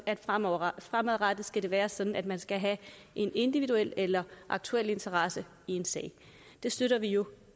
at fremadrettet fremadrettet skal det være sådan at man skal have en individuel eller aktuel interesse i en sag det støtter vi jo